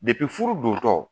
furu dontɔ !